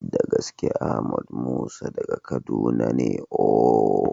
Da gaske! Ahmed Musa daga Kaduna ne ooo.